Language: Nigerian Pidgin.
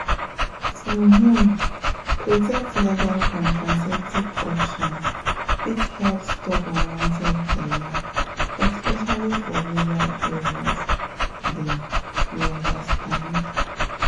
to um protect legal contraceptive options fit help stop unwanted belle especially for rural area dem you understand?